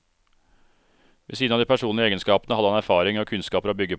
Ved siden av de personlige egenskapene hadde han erfaring og kunnskaper å bygge på.